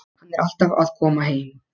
Hann er alltaf að koma heim.